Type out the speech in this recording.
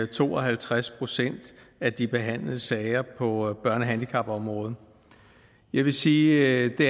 to og halvtreds procent af de behandlede sager på børne og handicapområdet jeg vil sige at det